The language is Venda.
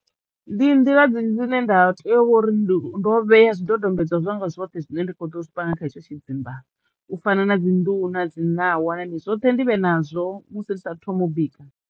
Ndi nḓila dzinzhi dzi ne nda teyo vho uri ndo vhea zwidodombedzwa zwanga zwoṱhe zwine nda kho ḓo zwi panga kha hetsho tshidzimba u fana na dzi nḓuhu na dzi ṋawa zwoṱhe ndivhe nazwo musi ndi sa thu thoma u bika.